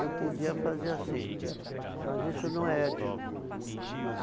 Eu podia fazer assim, mas isso não é ético.